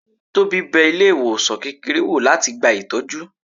Tobi bẹ ilé ìwòsan kékeré wọ́, latí gbá ìtọjú